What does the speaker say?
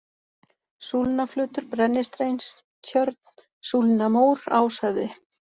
Súlnaflötur, Brennisteinstjörn, Súlnamór, Áshöfði